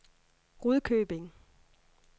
Rudkøbing